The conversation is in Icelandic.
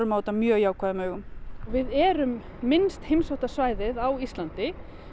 á þetta mjög jákvæðum augum við erum minnst svæðið á Íslandi